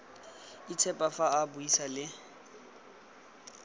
itshepa fa a buisa le